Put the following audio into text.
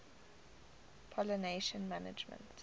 pollination management